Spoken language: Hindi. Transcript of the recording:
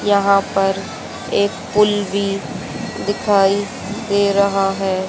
यहां पर एक पूल भी दिखाई दे रहा है।